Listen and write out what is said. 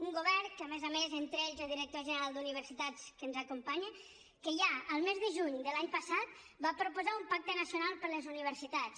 un govern que a més a més entre ells el director general d’universitats que ens acompanya ja al mes de juny de l’any passat va proposar un pacte nacional per les universitats